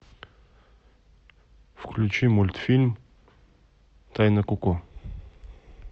включи мультфильм тайны коко